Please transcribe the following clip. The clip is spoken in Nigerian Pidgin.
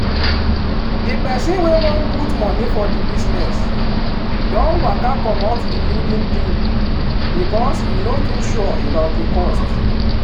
di peson wey wan put money for di business don waka comot di building deal becos e no too sure about di cost.